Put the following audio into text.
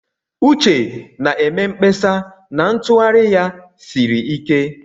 Uche na-eme mkpesa na ntughari ya siri ike.